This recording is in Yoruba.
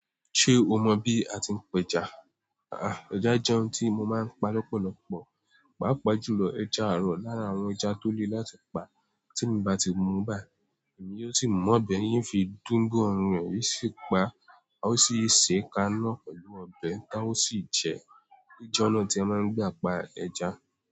Ṣé o mọ bí a ti ń pa ẹja? À-á, ẹja jẹ́ oun tí mo máa ń pa lọ́pọ̀lọpọ̀, pàápàá jùlọ ẹja àrọ̀ lára àwọn ẹja tó le láti pa. Tí mo bá ti mu báyii, èmi yóò sì mú ọbẹ̀ yín fi dúgun ọrùn rẹ̀ sí í pa á, ó sì ṣe é ka iná pẹ̀lú ọbẹ̀ tá ó sì jẹ ẹ́. Ó jẹ́ ọ̀nà tí a máa ń gbà pa ẹja.